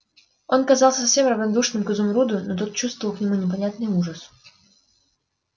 он казался совсем равнодушным к изумруду но тот чувствовал к нему непонятный ужас